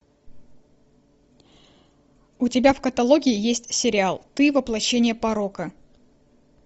у тебя в каталоге есть сериал ты воплощение порока